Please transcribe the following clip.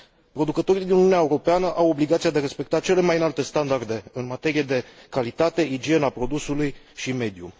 Producătorii din Uniunea Europeană au obligația de a respecta cele mai înalte standarde în materie de calitate, igienă a produsului și mediu.